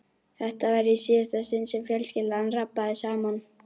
Þetta var í síðasta sinn sem fjölskyldan rabbaði saman.